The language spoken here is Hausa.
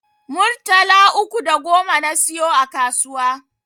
Murtala uku da goma na siyo a kasuwa